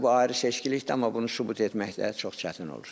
Hə, bu ayrı seçkilikdir, amma bunu sübut etmək də çox çətin olur.